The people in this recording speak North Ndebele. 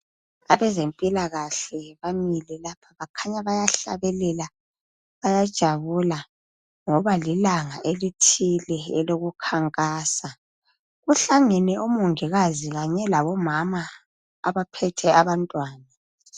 Abezempilakahle bamile lapha bakhanya bayahlabelela bayajabula ngoba lilanga elithile elokukhankasa. Kuhlangene omongikazi kanye labomama abaphethe abantwana.